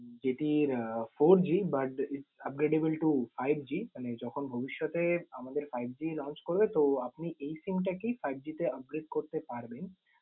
যেটি আহ fourG but upgradable to fiveG । মানে যখন ভবিষ্যতে আমাদের fiveG launch করবে তো আপনি এই SIM টাকেই fiveG তে upgrade করতে পারবেন।